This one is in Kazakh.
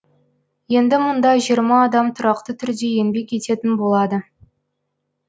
енді мұнда жиырма адам тұрақты түрде еңбек ететін болады